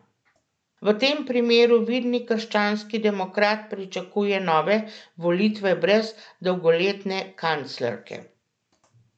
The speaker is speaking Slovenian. V tem primeru vidni krščanski demokrat pričakuje nove volitve brez dolgoletne kanclerke.